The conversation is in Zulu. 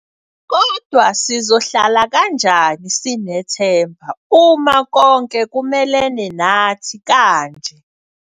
Kodwa sizohlala kanjani sinethemba uma konke kumelene nathi kanje?